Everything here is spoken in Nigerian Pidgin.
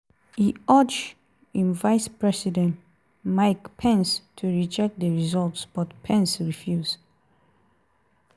e urge im vice-president mike pence to reject di results -- but pence refuse.